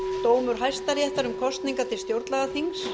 dómur hæstaréttar til stjórnlagaþings